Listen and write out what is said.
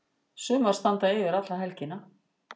Sumar standa yfir alla helgina.